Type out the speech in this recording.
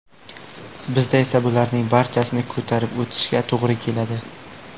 Bizda esa bularning barchasini ko‘tarib o‘tishga to‘g‘ri keladi.